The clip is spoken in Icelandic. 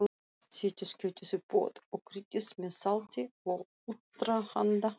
Setjið kjötið í pott og kryddið með salti og allrahanda.